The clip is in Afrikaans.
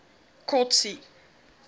kotsi